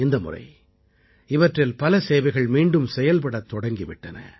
இந்தமுறை இவற்றில் பல சேவைகள் மீண்டும் செயல்படத் தொடங்கி விட்டன